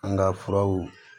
An ka furaw